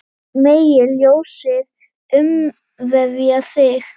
Megi ljósið umvefja þig.